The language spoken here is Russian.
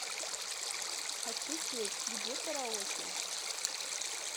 хочу петь где караоке